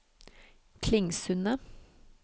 Klingsundet